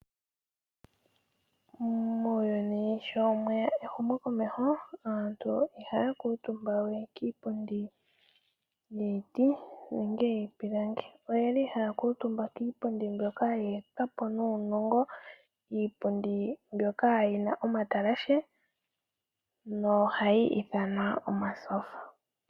Muuyuni sho mweya ehumokomeho aantu ihaya kuutumba we kiipundi yiiti nenge yiipilangi. Oyeli haya kuutumba kiipundi mbyoka ye etwapo nuunongo iipundi mbyoka yina omatalashe no hayi ithanwa omatyofa.